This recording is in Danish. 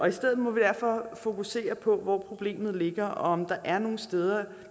i stedet må vi derfor fokusere på hvor problemet ligger og om der er nogle steder